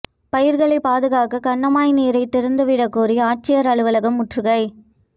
பயிா்களை பாதுகாக்க கண்மாய் நீரை திறந்து விடக் கோரி ஆட்சியா் அலுவலகம் முற்றுகை